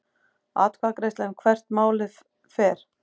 Atkvæðagreiðsla um hvert málið fer